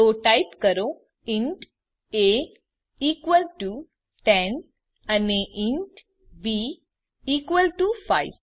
તો ટાઈપ કરો int a equal to 10 અને ઇન્ટ બી ઇકવલ ટુ 5